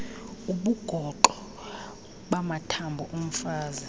ubugoxo bamathambo omfazi